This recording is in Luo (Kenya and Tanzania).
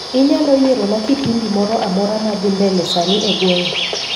Inyalo yierona kipindi amoramora madhii mbele sani e gweng'a